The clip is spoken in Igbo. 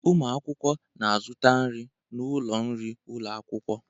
Ụmụ akwụkwọ na-azụta nri n'ụlọ nri ụlọ akwụkwọ